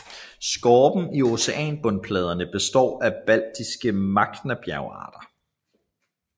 Skorpen i oceanbundspladerne består af basaltiske magmabjergarter